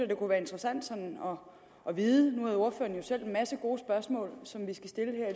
det kunne være interessant at vide nu havde ordføreren jo selv en masse gode spørgsmål som vi skal stille